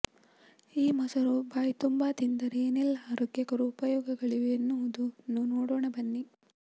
ಈ ಮೊಸರು ಬಾಯ್ತುಂಬಾ ತಿಂದರೆ ಏನೆಲ್ಲಾ ಆರೋಗ್ಯಕರ ಉಪಯೋಗಗಳಿವೆ ಎನ್ನುವುದನ್ನು ನೋಡೋಣ ಬನ್ನಿ